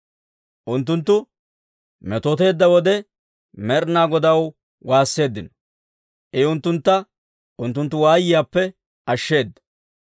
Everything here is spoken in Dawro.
Unttunttu metooteedda wode, Med'inaa Godaw waasseeddino; I unttuntta unttunttu waayiyaappe ashsheeda.